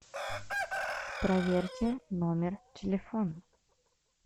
проверьте номер телефона